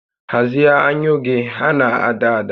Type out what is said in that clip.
Hazie anyụ gị, ha na-ada ada!